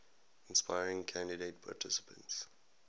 inspiring candidate participants